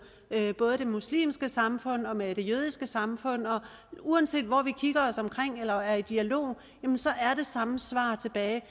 både det muslimske samfund og med det jødiske samfund og uanset hvor vi kigger os omkring eller er i dialog er det samme svar tilbage